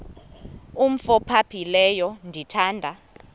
umf ophaphileyo ndithanda